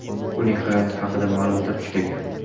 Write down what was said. Uning hayoti haqida ma’lumot juda kam.